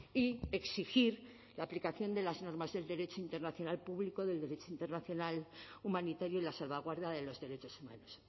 y exigir la aplicación de las normas del derecho internacional público del derecho internacional humanitario y la salvaguarda de los derechos humanos